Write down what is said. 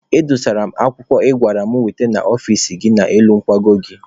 Edosara m akwụkwọ ị gwara m wete n'ọfici gị n'elu nkwago gị.